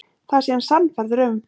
Það sé hann sannfærður um.